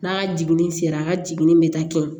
N'a ka jiginni sera a ka jiginni bɛ taa kɛ yen